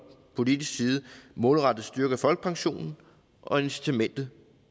politisk side målrettet styrker folkepensionen og incitamentet